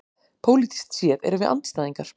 Pólitískt séð erum við andstæðingar